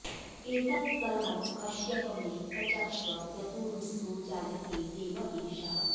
एतत्सर्वं कश्यप मे प्रचक्ष्व यतो रुद्रो जायते देव एषः